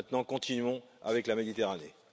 Maintenant, continuons avec la Méditerranée.